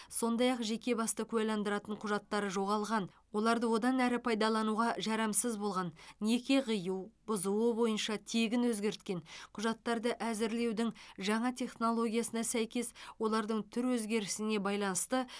сондай ақ жеке басты куәландыратын құжаттары жоғалған олар одан әрі пайдалануға жарамсыз болған неке қию бұзуы бойынша тегін өзгерткен құжаттарды әзірлеудің жаңа технологиясына сәйкес олардың түр өзгерісіне байланысты